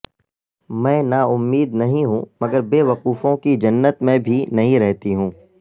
میں نا امید نہیں ہوں مگر بے وقوفوں کی جنت میں بھی نہیں رہتی ہوں